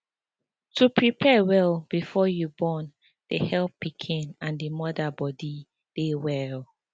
to prepare well before you born dey help pikin and d moda body dey well